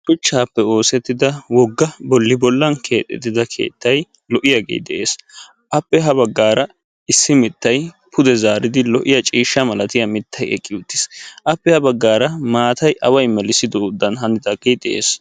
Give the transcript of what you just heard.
Shuchchappe oosettida wogga bolli bollan keexxettida lo'iya keettay de'ees. Appe ha baggaara issi mittay pude zaaridi lo"iya ciishsha mittay eqqi uttiis. Appe ha baggaara maatay awa melisoodan hanidaage de'ees.